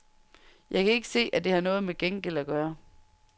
Jeg kan ikke se, at det har noget med gengæld at gøre.